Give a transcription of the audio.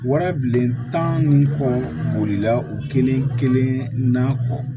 Wara bilen tan ni kɔ bolila o kelen kelen na kɔ